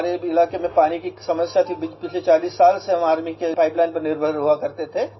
हमारे इलाके में पानी की समस्या थी बिलकुल पिछले 40 साल से हम आर्मी के पाइप लाइन पर निर्भर हुआ करते थे